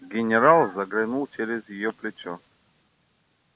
генерал заглянул через её плечо